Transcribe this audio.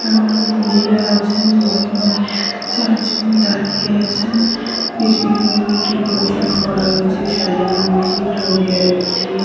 একটা প্যান্ডেল হয়েছে। তিনজন শাড়ী পরে আছে। তিনটি মেয়ে একটা ছেলে পাঞ্জাবি--